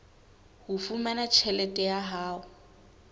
ho fumana tjhelete ya hae